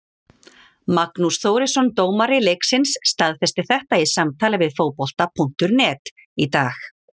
Magnús Þórisson dómari leiksins staðfesti þetta í samtali við Fótbolta.net í dag.